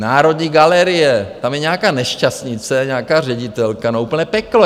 Národní galerie, tam je nějaká nešťastnice, nějaká ředitelka, no, úplné peklo.